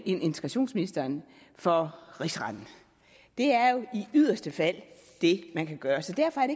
integrationsministeren for rigsretten det er jo i yderste fald det man kan gøre så derfor er